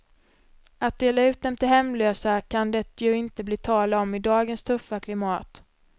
Att dela ut dem till hemlösa kan det ju inte bli tal om i dagens tuffa klimat.